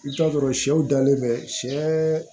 I bɛ t'a sɔrɔ sɛw dalen bɛ sɛ